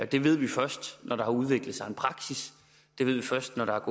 det ved vi først når der har udviklet sig en praksis det ved vi først når der